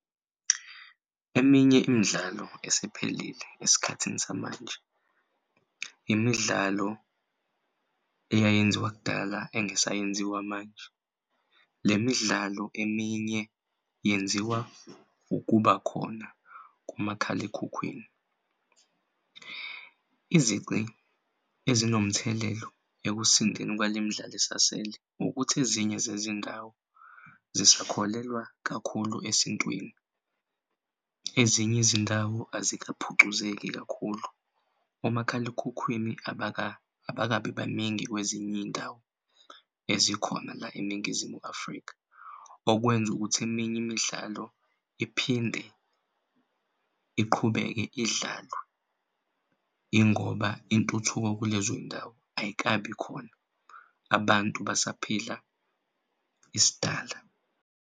Eminye imidlalo esephelile esikhathini samanje imidlalo eyayenziwa kudala engasayenziwa manje lemidlalo eminye yenziwa ukuba khona kumakhalekhukhwini. Izici ezinomthelela ekusindeni kwalemdlalo esasele ukuthi ezinye zezindawo zisakholelwa kakhulu esintwini. Ezinye izindawo azikaphucuseki kakhulu umakhalekhukhwini abakabi baningi kwezinye iy'ndawo ezikhona la eNingizimu Afrika, okwenza ukuthi eminye imidlalo iphinde iqhubeke idlalwe yingoba intuthuko kulezo y'ndawo ayikabi khona abantu basaphila isidala.